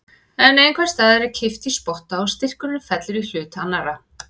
En einhvers staðar er kippt í spotta og styrkurinn fellur í hlut annarrar.